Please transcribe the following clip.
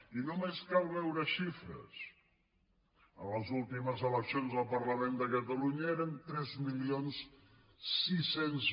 i només cal veure xifres en les últimes eleccions del parlament de catalunya eren tres mil sis cents